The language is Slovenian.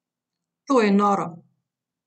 To je noro!